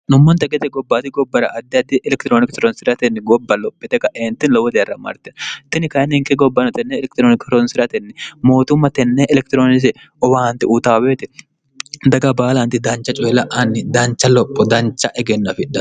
nummonta gete gobbaati gobbara addi addi elekitirooniki toronsi'ratenni gobba lophite ka eenti lowo diarra marten tini kayi ninke gobbano tenne elekitirooniki horonsi'ratenni mootumma tenne elekitiroonise owaanti utaaweeti daga baalanti dancha coyila'anni dancha lopho dancha egennofi